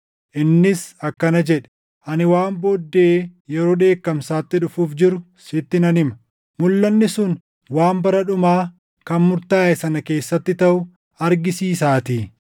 Innis akkana jedhe; “Ani waan booddee yeroo dheekkamsaatti dhufuuf jiru sitti nan hima; mulʼanni sun waan bara dhumaa kan murtaaʼe sana keessatti taʼu argisiisaatii.